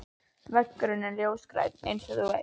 Veggurinn er ljósgrænn, einsog þú veist.